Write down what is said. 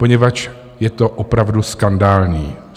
Poněvadž je to opravdu skandální.